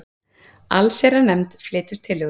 Allsherjarnefnd flytur tillögu